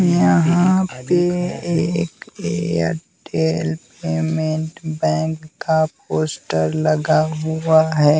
यहाँ पे एक एयरटेल पेमेंट बैंक का पोस्टर लगा हुआ हैं।